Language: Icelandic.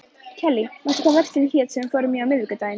Kellý, manstu hvað verslunin hét sem við fórum í á miðvikudaginn?